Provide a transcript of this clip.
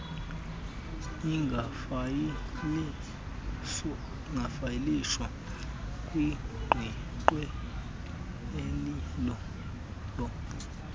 ingafayilishwa kwiqweqwe elilolo